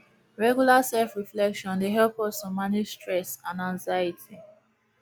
regular selfreflection dey help us to manage stress and anxiety